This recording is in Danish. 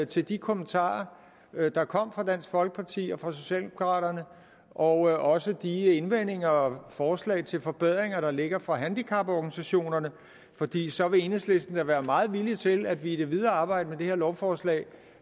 til de kommentarer der kom fra dansk folkeparti og fra socialdemokraterne og også de indvendinger og forslag til forbedringer der ligger fra handicaporganisationerne fordi så vil enhedslisten da være meget villig til at vi i det videre arbejde med det her lovforslag